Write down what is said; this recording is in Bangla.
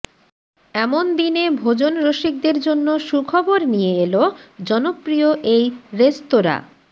এমন দিনে ভোজন রসিকদের জন্য সুখবর নিয়ে এল জনপ্রিয় এই রেস্তোরাঁ